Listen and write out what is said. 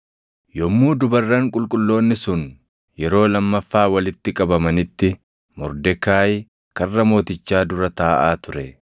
Yommuu dubarran qulqulloonni sun yeroo lammaffaa walitti qabamanitti Mordekaayi karra mootichaa dura taaʼaa ture.